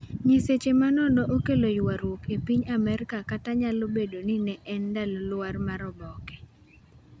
nyiseche manono okelo ywaruok e piny Amerka kata nyalo bedo ni ne en ndalo lwar mar oboke